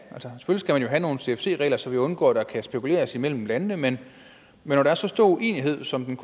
nogle cfc regler så vi undgår at der kan spekuleres imellem landene men når der er så stor uenighed som den